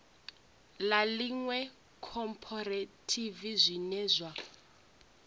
ḽa iṅwe khophorethivi zwine zwa